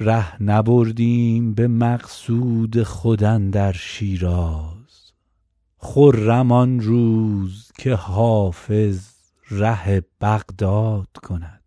ره نبردیم به مقصود خود اندر شیراز خرم آن روز که حافظ ره بغداد کند